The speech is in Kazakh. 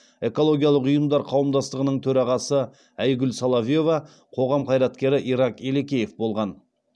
экологиялық ұйымдар қауымдастығының төрағасы айгүл соловьева қоғам қайраткері ирак елекеев болған